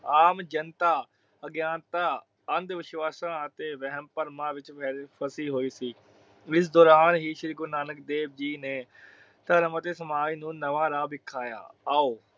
ਆਮ ਜਨਤਾ ਅਗਿਆਨਤਾ ਅੰਧ ਵਿਸ਼ਵਾਸਾਂ ਅਤੇ ਵਹਿਮ ਭਰਮਾ ਵਿਚ ਫੇਲਫਸੀ ਹੋਈ ਸੀ। ਇਸ ਦੋਰਾਨ ਹੀ ਸ਼੍ਰੀ ਗੁਰੂ ਨਾਨਕ ਦੇਵ ਜੀ ਨੇ ਧਰਮ ਅਤੇ ਸਮਾਜ ਨੂੰ ਨਵਾਂ ਰਾਹ ਵਿਖਾਇਆ। ਆਓ